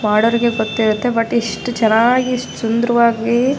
ಮಾಡೋರಿಗೆ ಗೊತ್ತಿರುತ್ತೆ ಬಟ್ ಇಸ್ಟ್ ಚೆನ್ನಾಗಿ ಇಸ್ಟ್ ಸುಂದರವಾಗಿ --